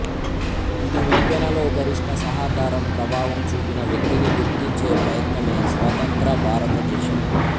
ఇది ఉప్పెనలో గరిష్ట సహకారం ప్రభావం చూపిన వ్యక్తిని గుర్తించే ప్రయత్నమే స్వతంత్ర భారతదేశం